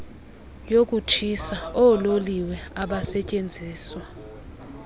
yokutshisa oololiwe abasetyenziswa